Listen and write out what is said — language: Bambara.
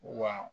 Wa